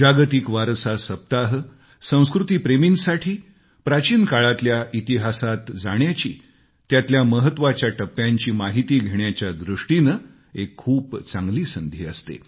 जागतिक वारसा सप्ताह संस्कृतीप्रेमींसाठी प्राचीन काळामध्ये जाण्याची इतिहासातल्या महत्वाच्या टप्प्यांची माहिती घेण्याच्या दृष्टीनं एक खूप चांगली संधी असते